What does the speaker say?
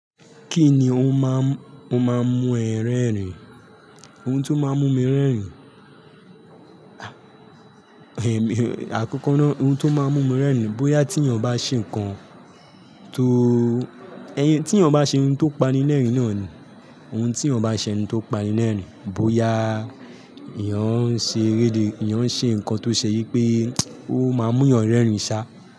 Kí ni ó máa, ó máa mú ẹ rẹ́rìn? Ohun tó máa mú mi rẹ́rìn, àkọ́kọ́ ná, ohun tó máa mú mi rẹ́rìn bóyá tí èèyàn bá ṣe nǹkan tó, ẹyẹ, tí èèyàn bá ṣe ohun tó pani lẹ́rìn náà ni, ohun tí èèyàn bá ṣe ohun tó pani lẹ́rìn, bóyá èèyàn ń ṣe eré ìdè, èèyàn ń ṣe nǹkan tó ṣe yí pé ó máa mú èèyàn rẹ́rìn sá.